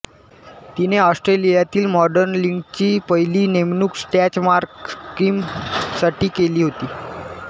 तिने ऑस्ट्रेलियातील मॉडेलिंगची पहिली नेमणूक स्टँच मार्क क्रीमसाठी केली होती